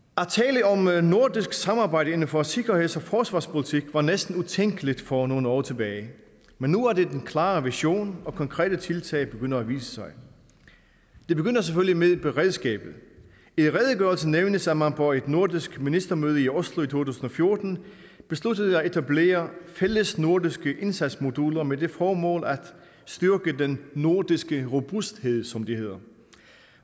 at nordisk samarbejde inden for sikkerheds og forsvarspolitik var næsten utænkeligt for nogle år tilbage men nu er det den klare vision og konkrete tiltag begynder at vise sig det begynder selvfølgelig med beredskabet i redegørelsen nævnes at man på et nordisk ministermøde i oslo i to tusind og fjorten besluttede at etablere fællesnordiske indsatsmoduler med det formål at styrke den nordiske robusthed som det hedder